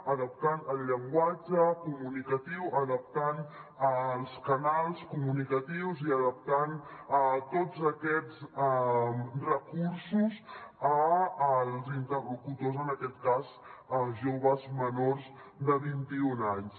adaptant el llenguatge comunicatiu adaptant els canals comunicatius i adaptant tots aquests recursos als interlocutors en aquest cas a joves menors de vint i un anys